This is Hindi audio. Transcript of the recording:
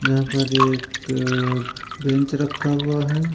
यहाँ पर एक बेंच रखा हुआ है।